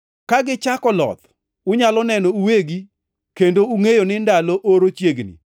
Ka gichako loth, unyalo neno uwegi kendo ungʼeyo ni ndalo oro chiegni.